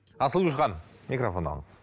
асылгүл ханым микрофон алыңыз